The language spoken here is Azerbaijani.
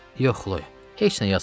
"Yox, Xloya, heç nə yazmayıb.